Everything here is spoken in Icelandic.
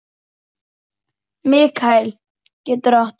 Mikael getur átt við